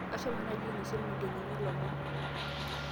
ashomo naaji ainosie ilmugenini ilomon